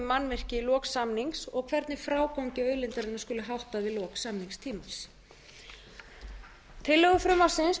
mannvirki í lok samnings og hvernig frágangi auðlindarinnar skuli háttað við lok samningstíma tillögur frumvarpsins